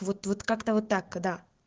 вот вот как-то вот так когда